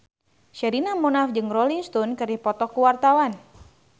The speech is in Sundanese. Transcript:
Sherina Munaf jeung Rolling Stone keur dipoto ku wartawan